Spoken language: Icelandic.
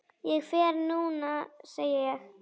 Ég fer núna, segi ég.